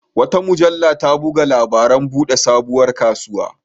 Wata mujalla ta buga labarin buɗe sabuwar kasuwa.